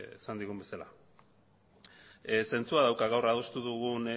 esan digun bezala zentzua dauka gaur adostu dugun